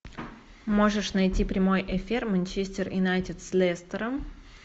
можешь найти прямой эфир манчестер юнайтед с лестером